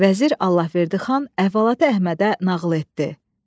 Vəzir Allahverdi xan əhvalatı Əhmədə nağıl etdi.